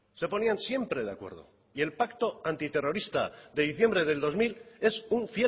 se ponían siempre de acuerdo y el pacto antiterrorista de diciembre del dos mil es un